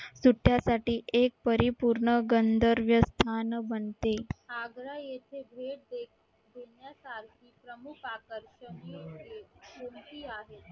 सुट्ट्यासाठी एक परिपूर्ण गंधर्व स्थान बनते